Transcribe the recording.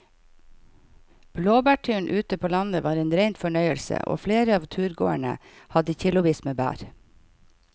Blåbærturen ute på landet var en rein fornøyelse og flere av turgåerene hadde kilosvis med bær.